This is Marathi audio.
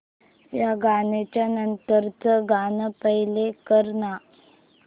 या गाण्या नंतरचं गाणं प्ले कर ना